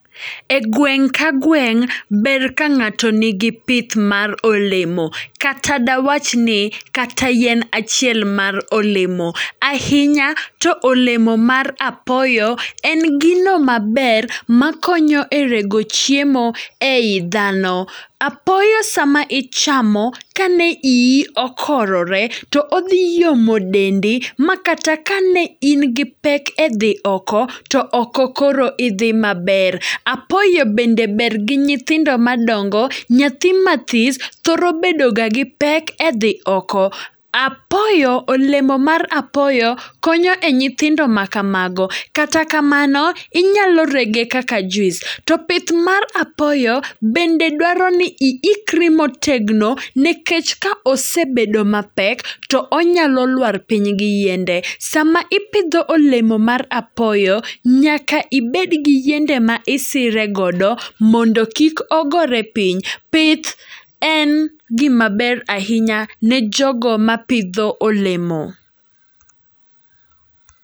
E gweng' ka gweng', ber ka ng'ato nigi pith mar olemo. Kata dwach ni kata yien achiel mar olemo, ahinya to olemo mar apoyo en gino maber makonyo e rego chiemo ei dhano. Apoyo sama ichamo, kane iyi okorore, to odhi yomo dendi ma kata ka ne in gi pek e dhi oko, to oko koro idhi maber. Apoyo bende ber gi nyithindo madongo, nyathi mathis thoro bedo ga gi pek e dhi oko. Apoyo, olemo mar apoyo konyo e nyithindo ma kamago. Kata kamano, inyalo rege kaka juis. To pith mar apoyo, bende dwaro ni iikri motegno, nekech ka osebedo mapek to onyalo lwar piny gi yiende. Sama ipidho olemo mar apoyo, nyaka ibed gi yiende ma isire godo, mondo kik ogore piny. Pith en gima ber ahinya ne jogo ma pidho olemo.